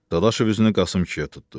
Dadaşov üzünü Qasım kişiyə tutdu.